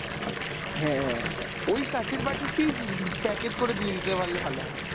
হ্যাঁ ওই কাঁচের বাটিতেই উম packet করে দিয়ে দিতে পারলে ভাল হয়।